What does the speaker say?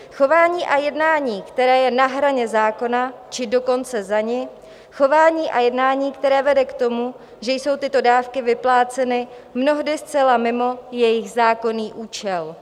Chování a jednání, které je na hraně zákona, či dokonce za ní, chování a jednání, které vede k tomu, že jsou tyto dávky vypláceny mnohdy zcela mimo jejich zákonný účel.